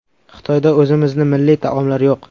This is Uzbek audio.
Xitoyda o‘zimizni milliy taomlar yo‘q.